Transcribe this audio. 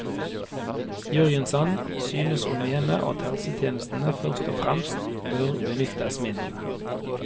Jørgensen synes å mene at helsetjenestene først og fremst bør benyttes mindre.